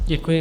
Děkuji.